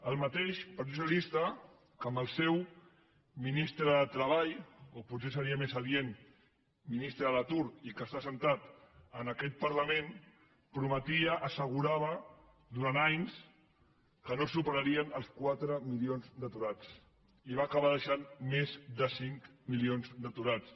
el mateix partit socialista que amb el seu ministre de treball o potser seria més adient ministre de l’atur i que està assegut en aquest parlament prometia assegurava durant anys que no superarien els quatre milions d’aturats i va acabar deixant més de cinc milions d’aturats